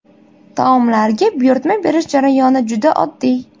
Taomlarga buyurtma berish jarayoni juda oddiy.